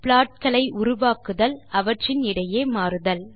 subplot களை உருவாக்குதல் அவற்றின் இடையே மாறுதல்